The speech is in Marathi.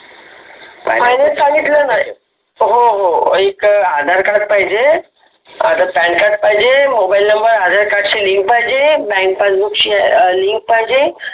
final सांगितल का रे हो हो एक आधार कार्ड पाहिजे, पॅन कार्ड पाहिजे, मोबाईल नम्बर आधार कार्ड शि link पाहिजे, बॅन्क पासबुक शि link पाहिजे